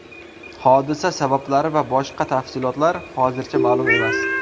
Hodisa sabablari va boshqa tafsilotlar hozircha ma’lum emas.